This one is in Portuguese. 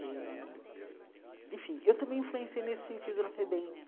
Eh enfim, eu também influenciei nesse sentido na FEBEM.